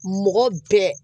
Mɔgɔ bɛɛ